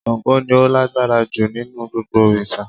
Sango ni o lágbára ju nínú gbogbo òrìsà